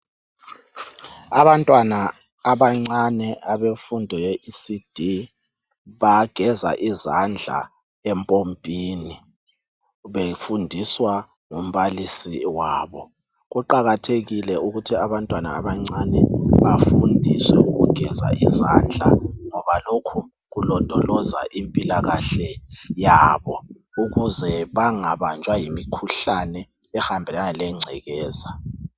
abantwana abancane abemfundo ye ECD bageza izandla empompini befundiswa ngumbalisi wabo kuqakathekile ukuthi abantwaa abancane bafundiswe ukugeza izandla ngoba lokhu kulondoloza impilakahle yabo ukuze bangabanjwa yimikhuhlane ehambelana lengcekeza